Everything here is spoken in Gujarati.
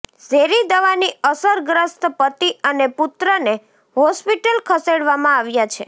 ઝેરી દવાની અસરગ્રસ્ત પતિ અને પુત્રને હોસ્પિટલ ખસેડવામાં આવ્યા છે